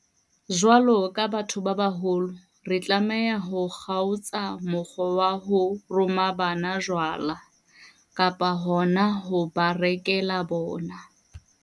Jwalo ka batho ba baholo, re tlameha ho kgaotsa mokgwa wa ho roma bana jwala, kapa hona ho ba rekela bona.